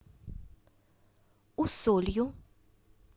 усолью